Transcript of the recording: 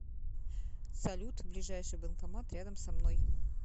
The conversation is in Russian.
салют ближайший банкомат рядом со мной